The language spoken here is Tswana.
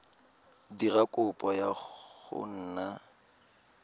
dira kopo ya go nna